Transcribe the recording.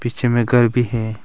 पीछे में घर भी हैं।